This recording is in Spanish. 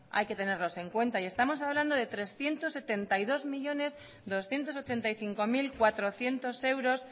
hay que tenerlos en cuenta y estamos hablando de trescientos setenta y dos millónes doscientos ochenta y cinco mil cuatrocientos euros